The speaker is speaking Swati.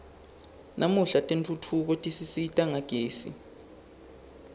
namuhla tentfutfuko tisisita ngagezi